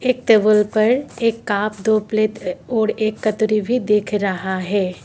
Table पर एक cup दो प्लेट और एक कटोरी भी देख रहा है।